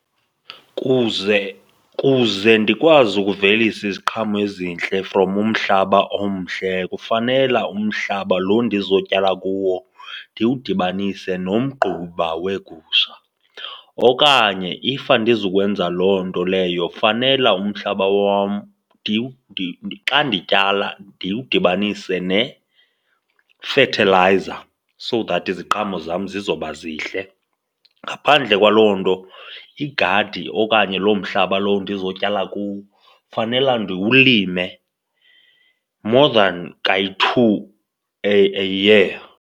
Kuze kuze ndikwazi ukuvelisa iziqhamo ezintle from umhlaba omhle kufanela umhlaba lo ndizotyala kuwo ndiwudibanise nomgquba weegusha okanye if andizukwenza loo nto leyo fanele umhlaba wam xa ndityala ndiwudibanise nefethelayiza so that iziqhamo zam zizoba zihle. Ngaphandle kwaloo nto igadi okanye loo mhlaba lowo ndizotyala kuwo fanela ndiwulime more than kayi-two a, a year.